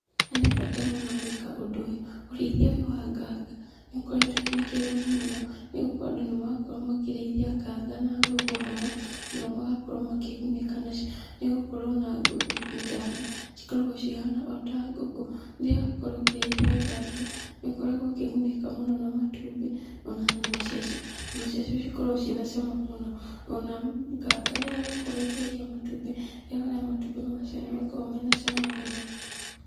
Harĩ bata mũno gwĩka ũndũ ũyũ, ũrĩithia ũyũ wa nganga nĩ ũkoretwo wĩna kĩguni mũno, nĩ gũkorwo andũ nĩ marakorwo makĩrĩithia nganga na ngũkũ hamwe, na magakorwo makĩgunĩka nacio, nĩ gũkorwo ona nganga cikoragwo cihana ota ngũkũ, rĩrĩa wakorwo ũkĩrĩithia nganga, nĩũkoragwo ũkĩgunĩka mũno na matumbĩ, ona nyama cia cio, nyama cia cio cikoragwo ciĩna cama mũno, ona nganga yakorwo ĩkĩrekia matumbĩ, rĩrĩa warĩa matumbĩ macio nĩ makoragwo mena cama mũno.